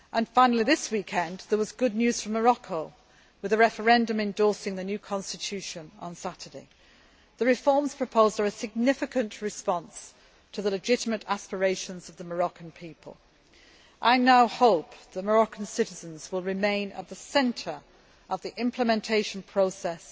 ago. Finally, this past weekend, there was good news from Morocco, with a referendum endorsing the new constitution on Saturday. The reforms proposed are a significant response to the legitimate aspirations of the Moroccan people. I now hope that Moroccan citizens will remain at the centre of the implementation